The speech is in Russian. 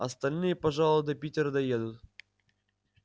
остальные пожалуй до питера доедут